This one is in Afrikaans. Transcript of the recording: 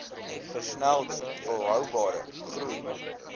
versnelde volhoubare groei